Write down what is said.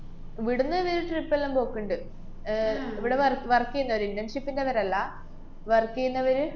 ഇവിട്ന്ന് ഇവര് trip എല്ലാം പോക്ക്ണ്ട്. ആഹ് ഇവിടെ wo~ work ചെയ്യുന്നവര് internship ഇന്‍റവരല്ല, work ചെയ്യുന്നവര്